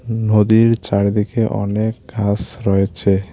নদীর চারিদিকে অনেক ঘাস রয়েছে।